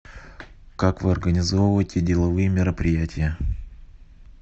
как вы организовываете деловые мероприятия